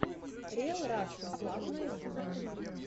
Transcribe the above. риэл рашен клаб на ютюбе